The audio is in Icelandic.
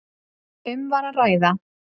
Um var að ræða